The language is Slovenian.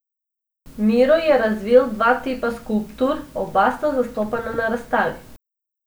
Miro je razvil dva tipa skulptur, oba sta zastopana na razstavi.